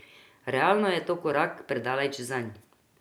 Realno je to korak predaleč zanj.